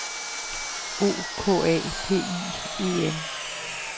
O K A P I E N